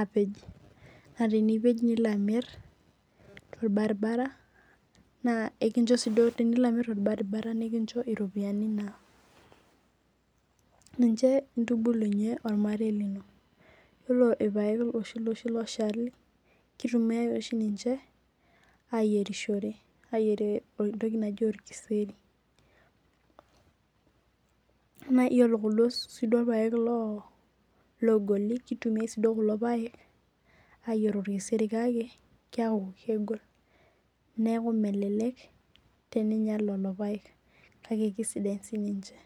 apej na tenipej nilo amir torbaribara ore peilo amir torbaribara nekincho iropiyiani naa ninche intibulunye ormarei lino ore kulo paek oshali na ninche itumiai ayierishore ayierie entoki naji orkeseri yiolo kuldo paek ogoli kitumia sinche kulo paek ayierie orkeseri neaku melelek teninyal lolopaek kake kesidain sininche.